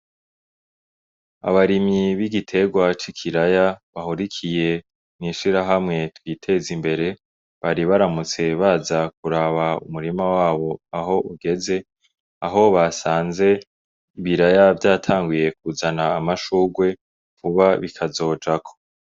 Abarimyi bigiterwa c'ikiraya bahurikiye mw'ishirahamwe ryiteza imbere bari baramutse baza kuraba umurima wabo aho ugeze aho basanze ibiraya vyatanguye kuzana amashurwe vuba bikazojako.